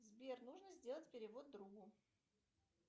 сбер нужно сделать перевод другу